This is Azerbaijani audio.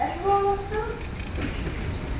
Əhvalatdan üç il keçib.